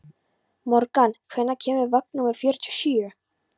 Morgan, hvenær kemur vagn númer fjörutíu og sjö?